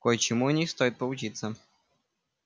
кое-чему у них стоит поучиться